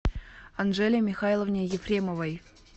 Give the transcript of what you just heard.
анжеле михайловне ефремовой